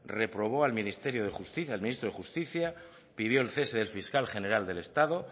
reprobó al ministerio de justicia al ministro de justicia pidió el cese del fiscal general del estado